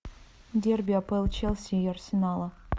дерби апл челси и арсенала